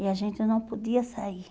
E a gente não podia sair.